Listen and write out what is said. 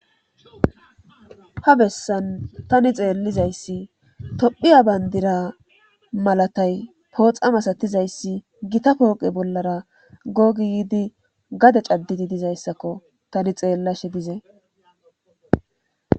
Ha bessan tani xeellizayssi tophiya banddura malatay pooxa masatizayssi gita pooqe bollara goo giidi gade caddidi dizyassako tani xeelashe dizay.